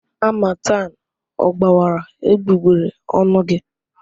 Harmattan ọ gbawara egbugbere ọnụ gị?